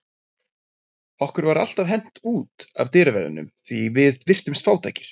Okkur var alltaf hent út af dyraverðinum því við virtumst fátækir.